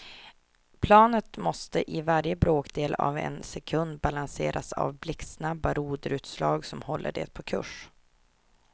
Planet måste i varje bråkdel av en sekund balanseras av blixtsnabba roderutslag som håller det på kurs.